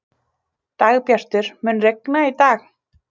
Dagbjartur, mun rigna í dag?